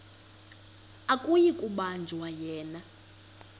akuyi kubanjwa yena